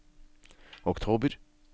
oktober